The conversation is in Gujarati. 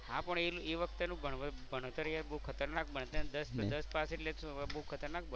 હા પણ એ એ વખતે નું ભણ ભણતર યાર બહુ ખતરનાક દસ પાસ એટલે બહુ ખતરનાક.